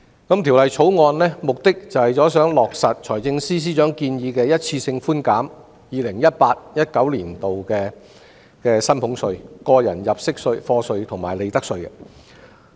《條例草案》的目的是落實財政司司長的建議，一次性寬減 2018-2019 年度的薪俸稅、個人入息課稅及利得稅。